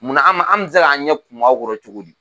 Munna an bɛ se k'an ɲɛ kumu aw kɔrɔ cogo di